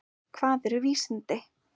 Hvað eru vísindi?